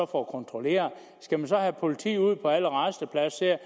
for at kontrollere skal man så have politi ud på alle rastepladser